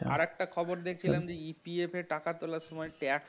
আরেকটা খবর দেখছিলাম যে EPF টাকা তোলার সময় tax